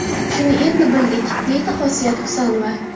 Shuni endi bildik”, deydi Xosiyat Husanova.